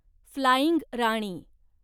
flying Rani